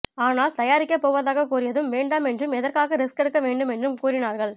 ஆனால் தயாரிக்க போவதாக கூறியதும் வேண்டாம் என்றும் எதற்காக ரிஸ்க் எடுக்க வேண்டும் என்றும் கூறினார்கள்